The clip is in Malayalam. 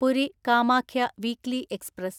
Puri Kamakhya weekly express